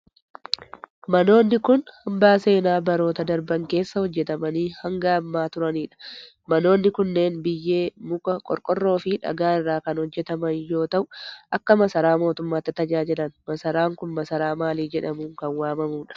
Manoonni kun, hambaa seenaa baroota darban keessa hojjatamanii hanga ammaa turanii dha. Manoonni kunneen, biyyee, muka qorqoorroo fi dhagaa irraa kan hojjataman yoo ta'u, akka masaraa mootummaatti tajaajilan. Masaraan kun, masaraa maalii jedhamuun kan waamamuu dha?